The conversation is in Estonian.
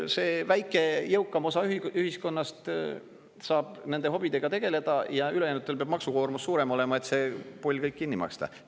See väike, jõukam osa ühiskonnast saab nende hobidega tegeleda ja ülejäänutel peab maksukoormus suurem olema, et see pull kõik kinni maksta.